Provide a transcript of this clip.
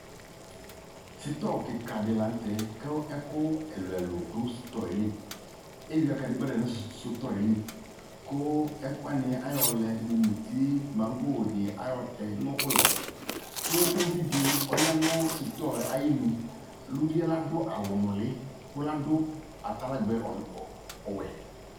Sitɔ klka de lantɛ ko ɛku ɛluɛlu do sutɔɛ li Ewia kadegba lɛ no sutɔɛ li, ko ɛku wane ne ayɔ lɛ mo muti, mango ne ayɔ tɛ no ulɔ, ko uvi de ɔya no suyɔɛ ayenu Luvie la do awu nule ko la do ataligbɛ ɔ ɔuɛ